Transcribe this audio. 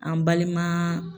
An balima